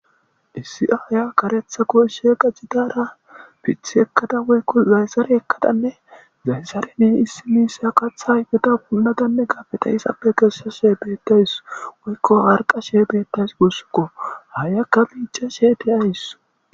Issi aaya be huphen karetha qace qachada,piththi ekada wogko zayzare ekadane zayzareni issi kaththa ayfeta punnadane biita izappe kessashe beetawus woyko harqashe beetawus guusuko. Aayiyaka miicashe de'awus.